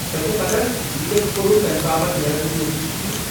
تۄہہ چھا پتاہ زِ یہِ تۄہہ کوٚروٕ تمہِ باپت نیرن نہٕ نتیجہِ ٹھیک ، ٹھیكھ چھا۔